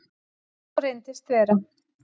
Og svo reyndist vera.